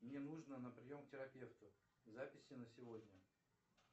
мне нужно на прием к терапевту записи на сегодня